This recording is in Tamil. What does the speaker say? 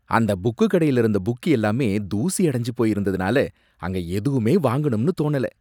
அந்த புக்குக்கடையில இருந்த புக் எல்லாமே தூசியடைஞ்சு போய் இருந்ததுனால அங்க எதுவுமே வாங்கணும்னு தோணல